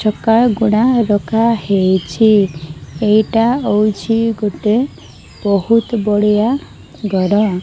ଚକା ଗୁଡା ରଖାହେଇଚି ଏଇଟା ହଉଚି ଗୋଟିଏ ବହୁତ ବଢିଆ ଘର।